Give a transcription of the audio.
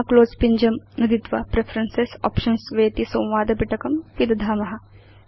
पुन क्लोज़ पिञ्जं नुदित्वा प्रेफरेन्सेस् आप्शन्स् वेति संवादपिटकं पिदधाम